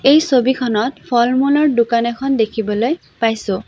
এই ছবিখনত ফল-মূলৰ দোকান এখন দেখিবলৈ পাইছোঁ।